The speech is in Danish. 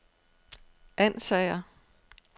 Ansager